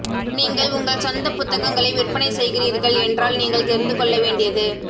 நீங்கள் உங்கள் சொந்த புத்தகங்களை விற்பனை செய்கிறீர்கள் என்றால் நீங்கள் தெரிந்து கொள்ள வேண்டியது